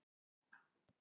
Hann er gamall.